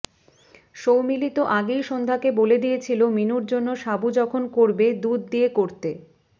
সৌমিলি তো আগেই সন্ধ্যাকে বলে দিয়েছিল মিনুর জন্য সাবু যখন করবে দুধ দিয়ে করতে